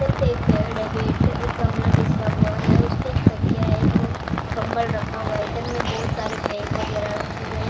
इधर पे एक बेड है बेड पे एक बिछा हुआ है उस पे एक तकिया है किधर कंबल रखा हुआ है इधर में बहुत सारे बैग वगैरह रखे हुए हैं ।